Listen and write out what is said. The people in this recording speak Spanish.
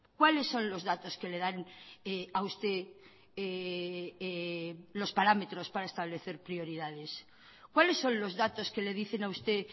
cuáles son los datos que le dan a usted los parámetros para establecer prioridades cuáles son los datos que le dicen a usted